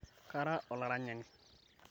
kara olaranyani